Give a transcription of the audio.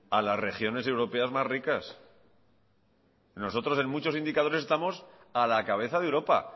a las regiones europeas más ricas nosotros en muchos indicadores estamos a la cabeza de europa